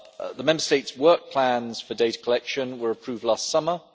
The Member States' work plans for data collection were approved last summer.